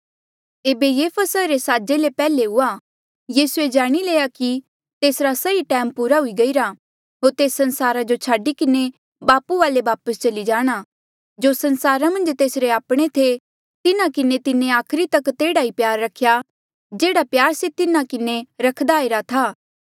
एेबे ये फसहा रे साजे ले पैहले हुआ यीसूए जाणी लया कि तेसरा सही टैम पूरा हुई गईरा होर तेस संसारा जो छाडी किन्हें बापू वाले वापस चली जाणा जो संसारा मन्झ तेसरे आपणे थे तिन्हा किन्हें तिन्हें आखरी तक तेह्ड़ा ई प्यार रख्या जेह्ड़ा प्यार से तिन्हा किन्हें रख्दा आईरा था